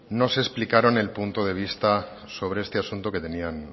nos explicaron el punto de vista sobre este asunto que tenían